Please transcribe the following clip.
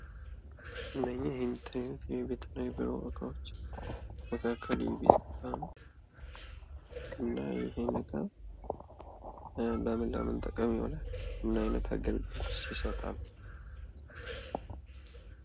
እነኚህ የሚታዩት የቤትና የቢሮ እቃዎች መካከል የቤት እቃ ለምን ለምን ጥቅም ይውላል? ምን አይነት አገልግሎትስ ይሰጣሉ?